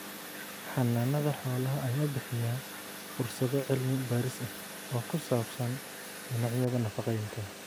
Xannaanada xoolaha ayaa bixiya fursado cilmi baaris ah oo ku saabsan dhinacyada nafaqeynta.